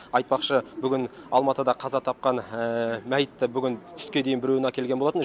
айтпақшы бүгін алматыда қаза тапқан мәйітті бүгін түске дейін біреуін әкелген болатын